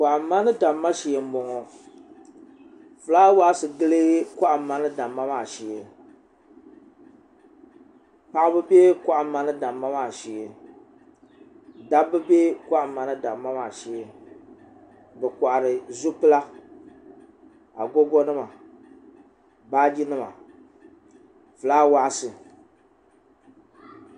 kohamma ni damma shee n boŋo fulaawaasi tili kohamma ni damma maa shee paɣaba bɛ kohamma ni damma maa shee dabba bɛ kohamma ni damma maa shee bi kohari zupila agogo nima fulaawaasi